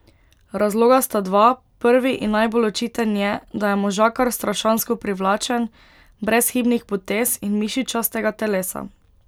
Razloga sta dva, prvi in najbolj očiten je, da je možakar strašansko privlačen, brezhibnih potez in mišičastega telesa.